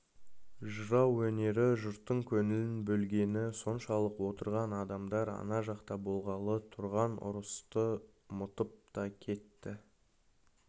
жырау өнері жұрттың көңілін бөлгені соншалық отырған адамдар ана жақта болғалы тұрған ұрысты ұмытып та кетті